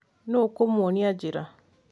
Nũ ũkũmuonia njĩa